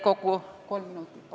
Kolm minutit lisaaega.